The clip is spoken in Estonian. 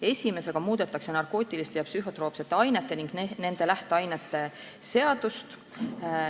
Esimesega muudetakse narkootiliste ja psühhotroopsete ainete ning nende lähteainete seadust.